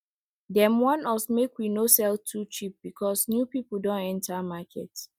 dem warn us make we no sell too cheap because new people don enter market